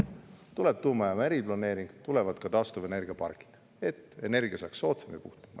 Tuleb tuumajaama eriplaneering, tulevad ka taastuvenergiapargid, et energia saaks soodsam ja puhtam.